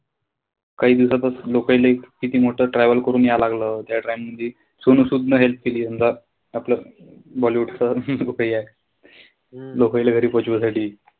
काई दिवसापासून लोकाईले किती मोठं travel करून याल लागलं. त्या time मधी सोनू सूद न help केली समजा. आपल्या bollywood च जो काई आये. लोकाईले घरी पोचिवायसाठी.